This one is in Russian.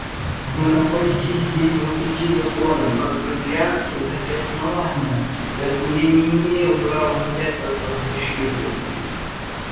вы находитесь здесь вопреки законам как корелианским так и основания поэтому я не имею права взять вас под защиту